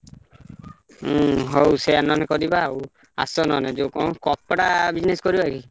ହୁଁ ହଉ ସେୟା ନହେଲେ କରିବା ଆଉ, ଆସ ନହେଲେ ଯୋଉ କଣ କପଡ଼ା business କରିବା କି?